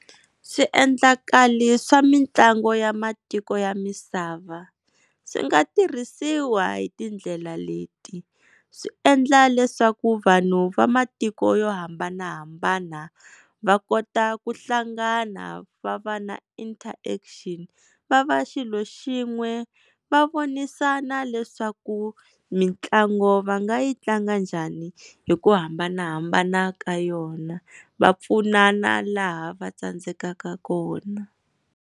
Swiendlakalo swa mitlangu ya matiko ya misava, swi nga tirhisiwa hi tindlela leti swi endla leswaku vanhu va matiko yo hambanahambana va kota ku hlangana va va na interaction va va xilo xin'we va vonisana leswaku mitlangu va nga yi tlanga njhani hi ku hambanahambana ka yona va pfunana laha va tsandzekaka kona.